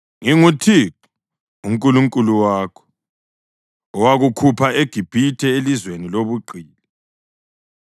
“ NginguThixo uNkulunkulu wakho owakukhupha eGibhithe, elizweni lobugqili.